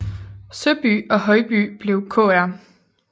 Søby og i Højby blev Kr